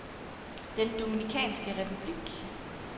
Den Dominikanske Republik